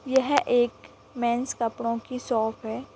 यह एक मेन्स कपड़ो की शॉप हैं।